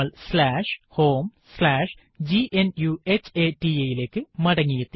നമ്മൾ homegnuhata ലേക്ക് മടങ്ങിയെത്തി